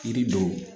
Yiri don